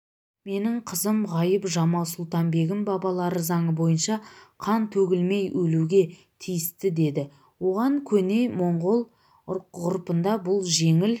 менің қызым ғайып-жамал-сұлтан-бегім бабалары заңы бойынша қан төгілмейөлуге тиісті деді оған көне монғол ғұрпында бұл жеңіл